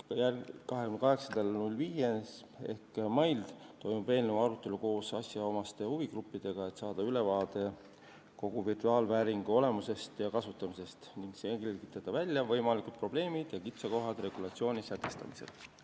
Ja 28. mail toimub eelnõu arutelu koos asjaomaste huvigruppidega, et saada ülevaade kogu virtuaalvääringu olemusest ja kasutamisest ning selgitada välja võimalikud probleemid ja kitsaskohad regulatsiooni sätestamise korral.